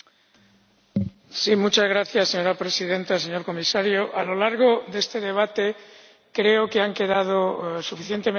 Señora Presidenta, señor Comisario, a lo largo de este debate creo que han quedado suficientemente claros algunos aspectos.